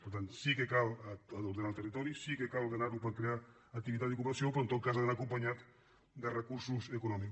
per tant sí que cal ordenar el territori sí que cal ordenar·lo per crear activitat i ocupació però en tot cas ha d’anar acompanyat de recursos econòmics